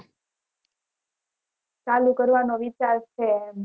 ચલુ કરવાનો વિચાર છે